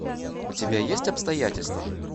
у тебя есть обстоятельства